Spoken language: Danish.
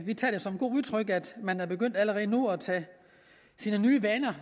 vi tager det som et udtryk for at man er begyndt allerede nu at tage sine nye vaner